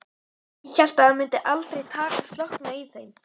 Ég hélt að það myndi aldrei slokkna í þeim.